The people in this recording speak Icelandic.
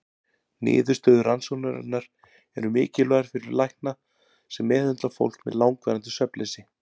Niðurstöður rannsóknarinnar eru mikilvægar fyrir lækna sem meðhöndla fólk með langvarandi svefnleysi.